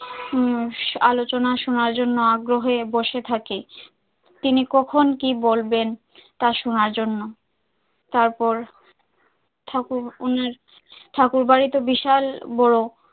উম আলোচনা শোনার জন্য আগ্রহে বসে থাকে তিনি কখন কি বলবেন, তা শোনার জন্য তারপর ঠাকুর ওনার ঠাকুরবাড়ি তো বিশাল বড়,